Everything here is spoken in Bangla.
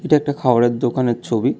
এটা একটা খাবারের দোকানের ছবি।